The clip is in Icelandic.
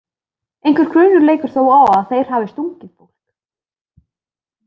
Einhver grunur leikur þó á að þeir hafi stungið fólk.